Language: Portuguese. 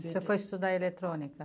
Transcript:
Você foi estudar eletrônica?